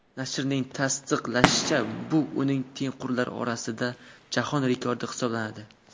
Nashrning tasdiqlashicha, bu uning tengqurlari orasida jahon rekordi hisoblanadi.